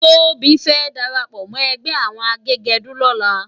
Tobi fè dàrápò mò ègbè áwòn àgégèdú lòlá